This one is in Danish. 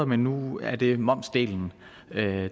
men nu er det momsdelen